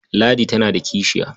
Ladi tana da kishiya.